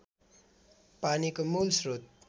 पानीको मूल श्रोत